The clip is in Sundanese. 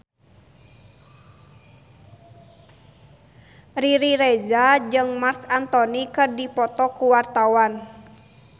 Riri Reza jeung Marc Anthony keur dipoto ku wartawan